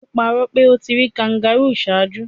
Tolu parọ pe o ti ri kangaroo ṣaaju